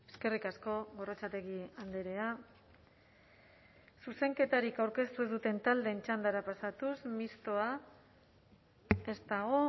eskerrik asko gorrotxategi andrea zuzenketarik aurkeztu ez duten taldeen txandara pasatuz mistoa ez dago